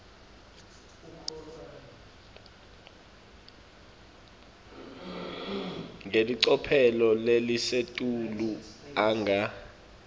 ngelicophelo lelisetulu anga